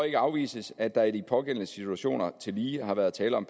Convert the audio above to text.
ikke afvises at der i de pågældende situationer tillige har været tale om